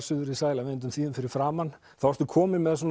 suðrið sæla vindum þýðum fyrir framan þá ertu komin með